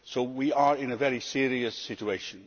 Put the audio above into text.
We are in a very serious situation.